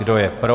Kdo je pro?